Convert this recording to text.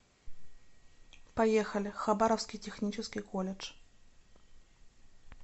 поехали хабаровский технический колледж